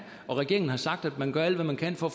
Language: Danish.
og regeringen har sagt at man gør alt hvad man kan for